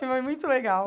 Foi muito legal.